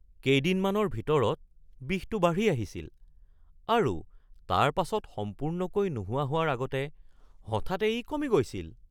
কেইদিনমানৰ ভিতৰত বিষটো বাঢ়ি আহিছিল আৰু তাৰপাছত সম্পূৰ্ণকৈ নোহোৱা হোৱাৰ আগতে হঠাতে ই কমি গৈছিল।